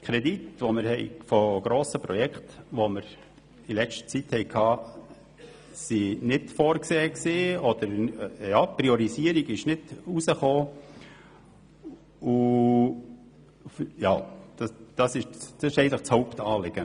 Kredite für grosse Projekte, die wir in letzter Zeit behandelt haben, waren nicht vorgesehen, bzw. es war keine Priorisierung ersichtlich.